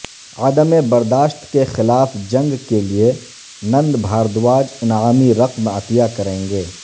عدم برداشت کے خلاف جنگ کے لئے نند بھاردواج انعامی رقم عطیہ کریں گے